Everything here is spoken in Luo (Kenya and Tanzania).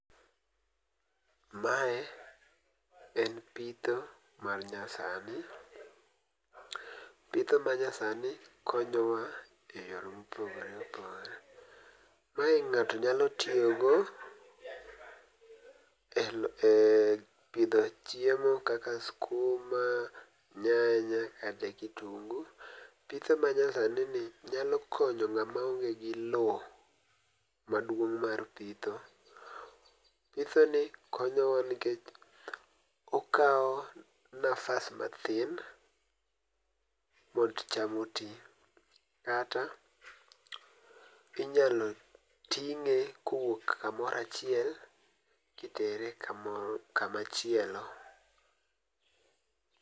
Mae en pitho mar nya sani . Pitho ma nya sani konyowa e yore mopgore opogore. Mae ng'ato nyalo tiyo go e e pidho chiemo kaka skuma , nyanya kata kitungu. Pitho ma nya sani ni nyalo konyo ng'ama onge go loo maduong' ma pitho. Pitho ni konyowa nikech okawo nafas mathin mond cham oti kata inyalo ting'e kowuok kamora chiel kitere kamoro kamachielo.